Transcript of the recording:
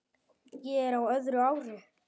Ég er á öðru ári.